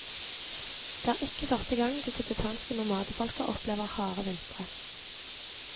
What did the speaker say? Det er ikke første gang det tibetanske nomadefolket opplever harde vintre.